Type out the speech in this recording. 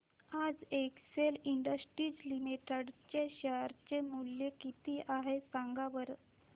आज Excel Industries Limited चे share चे मूल्य किती आहे सांगा बरं